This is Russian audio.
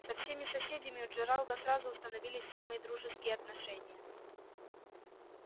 со всеми соседями у джералда сразу установились самые дружеские отношения